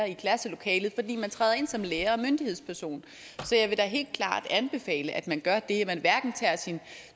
i klasselokalet fordi man træder ind som lærer og myndighedsperson så jeg vil da helt klart anbefale at man gør det at man hverken tager sin